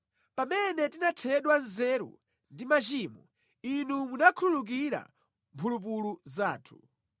Pamene tinathedwa nzeru ndi machimo, Inu munakhululukira mphulupulu zathu.